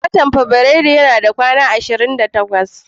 watan fabirairu yana da kwanaki 28.